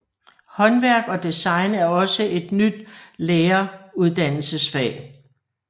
Håndværk og design er også et nyt læreruddannelsesfag